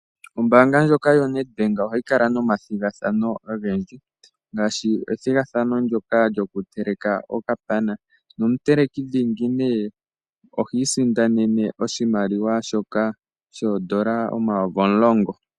Ombanga ndyoka yoNetbank ohayi kala nomathigathano ogendji ngaashi ethigathano ndyoka lyoku teleka okapana nomuteleki dhingi ohi sindanne oshimaliwa shoka shoondola omayovi omulongo.